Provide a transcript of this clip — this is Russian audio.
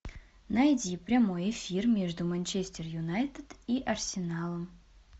найди прямой эфир между манчестер юнайтед и арсеналом